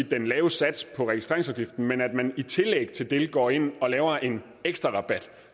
den lave sats på registreringsafgiften men at man i tillæg til det går ind og laver en ekstrarabat